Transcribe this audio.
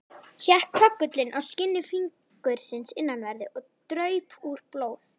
Hékk köggullinn á skinni fingursins innanverðu, og draup úr blóð.